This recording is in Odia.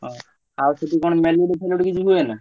ହଉ ଆଉ ସେଠି କଣ ମେଲୁଡି ଫେଲୁଡି କିଛି ହୁଏନା?